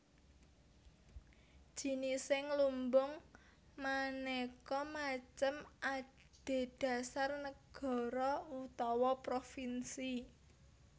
Jinising lumbung manéka macem adhedhasar nagara utawa provinsi